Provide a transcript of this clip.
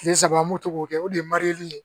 Kile saba an b'o to k'o kɛ o de ye ye